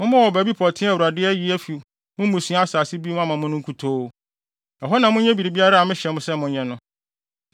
Mommɔ wɔ baabi pɔtee a Awurade ayi afi mo mmusua asase bi mu ama mo no nkutoo. Ɛhɔ na monyɛ biribiara a mehyɛ mo sɛ monyɛ no.